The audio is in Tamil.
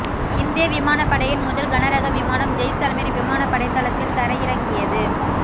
இந்திய விமானப் படையின் முதல் கனரக விமானம் ஜெய்சல்மீர் விமானப் படைத்தளத்தில் தரையிறங்கியது